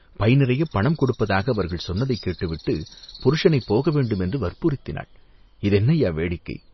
by நிறையப் பணம் கொடுப்பதாக அவர்கள் சொன்னதைக் கேட்டுவிட்டுப் புருஷனைப் போக வேண்டும் என்று வற்புறுத்தினாள், இது என்ன ஐயா, வேடிக்கை